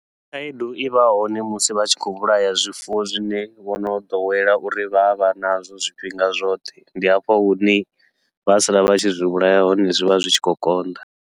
Khaedu ivha hone musi vha tshi khou vhulaya zwifuwo zwine vho no ḓowela uri vha a vha nazwo zwifhinga zwoṱhe, ndi hafho hune vha sala vha tshi zwi vhulaya hone zwivha zwi tshi khou konḓa.